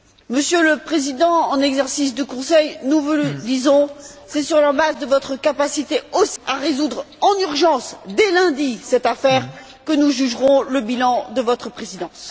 Monsieur le Président en exercice du Conseil, nous vous le disons, c'est aussi sur la base de votre capacité à résoudre en urgence, dès lundi, cette affaire que nous jugerons le bilan de votre présidence.